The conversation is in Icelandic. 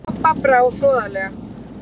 Kobba brá hroðalega.